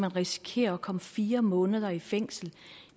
risikere at komme fire måneder i fængsel